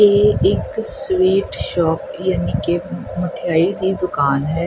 ਇਹ ਇੱਕ sweet shop ਯਾਨੀ ਕਿ ਮਠਿਆਈ ਦੀ ਦੁਕਾਨ ਹੈ।